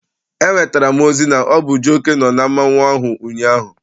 Enwetara m ozi na ọ bụ Jioke nọ na mmọnwụ ahụ ụnyaahụ.